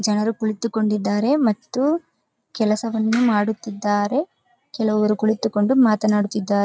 ಜನರು ಕುಳಿತುಕೊಂಡಿದರೆ ಮತ್ತು ಕೆಲಸವನ್ನು ಮಾಡುತಿದ್ದರೆ ಕೆಲವರು ಕುಳಿತುಕೊಂಡು ಮಾತನಾಡುತಿದರೆ.